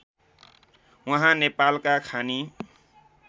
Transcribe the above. उहाँ नेपालका खानी